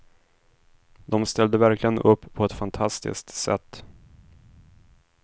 De ställde verkligen upp på ett fantastiskt sätt.